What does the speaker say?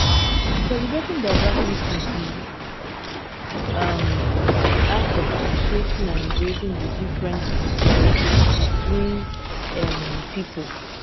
celebrating diversity um be um di act of appreciating and embracing di differences between um people.